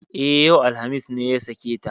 E, yau alhamis ne ya sake ta.